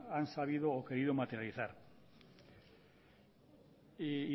han sabido o querido materializar y